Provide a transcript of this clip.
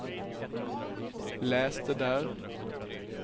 läs det där